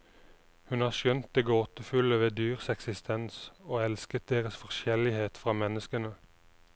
Hun har skjønt det gåtefulle ved dyrs eksistens, og elsket deres forskjellighet fra menneskene.